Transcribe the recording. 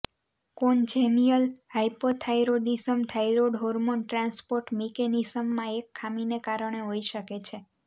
congenial hypothyroidism thyroid hormone transport મિકેનિઝમમાં એક ખામીને કારણે હોઈ શકે છે